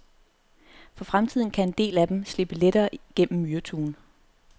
For fremtiden kan en del af dem slippe lettere gennem myreturen.